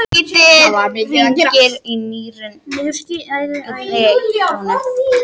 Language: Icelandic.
Lítið hrifnir af nýrri krónu